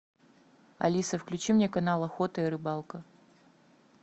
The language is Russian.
алиса включи мне канал охота и рыбалка